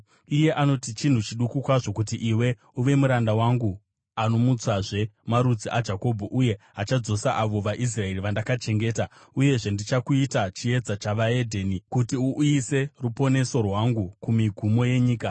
iye anoti: “Chinhu chiduku kwazvo kuti iwe uve muranda wangu, anomutsazve marudzi aJakobho uye achadzosa avo vaIsraeri vandakachengeta. Uyezve ndichakuita chiedza chevedzimwe ndudzi, kuti uuyise ruponeso rwangu kumigumo yenyika.”